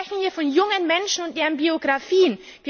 Wir sprechen hier von jungen Menschen und deren Biografien.